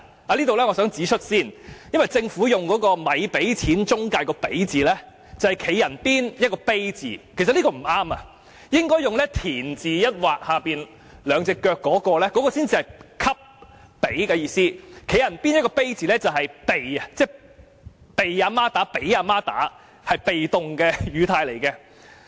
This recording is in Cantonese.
我想先在這裏指出，政府在"咪俾錢中介"這句中的"俾"字，是"人"字旁加一個"卑"字，但其實不應使用這個字，應該使用"畀"字才對，"畀"字才是"給予"的意思，而"俾"字是"被"的意思，例如被媽媽打或俾媽媽打，是被動的語態。